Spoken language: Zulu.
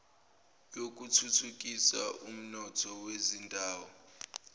yokuthuthukisa umnotho wezindawo